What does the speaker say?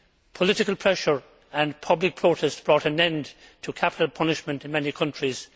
Political pressure and public protest have brought an end to capital punishment in many countries.